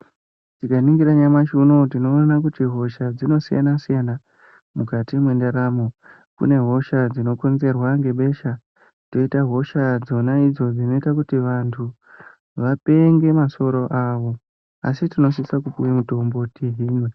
Tikaningira nyamashi unou tinoona kuti hosha dzinosiyana-siyana mukati mwendaramo. Kune hosha dzinokonzerwa ngebesha, poita dzona hosha dzona idzo dzinoite kuti vanhu vapenge masoro awo asi tinosise kupuwe mitombo tihinwe.